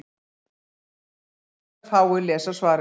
Þá mundu hins vegar fáir lesa svarið.